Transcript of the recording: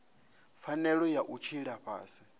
pfanelo ya u tshila fhasi